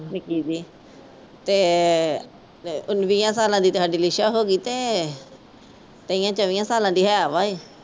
ਨਿੱਕੀ ਜਿਹੀ ਤੇ ਵੀਹਾਂ ਸਾਲਾਂ ਦੀ ਸਾਡੀ ਲਿਸ਼ਾ ਹੋ ਗਈ ਤੇ ਤੇਈਆਂ ਚੌਵੀਆਂ ਸਾਲਾਂ ਦੀ ਹੈ ਵਾ ਏ।